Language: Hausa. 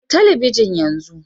Kashe talabijin yanzu